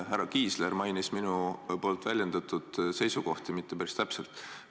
Härra Kiisler ei maininud minu väljendatud seisukohti päris täpselt.